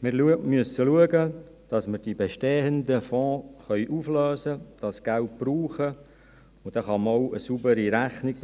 Wir müssen schauen, dass wir die bestehenden Fonds auflösen, dieses Geld brauchen können, und dann kann man auch eine saubere Rechnung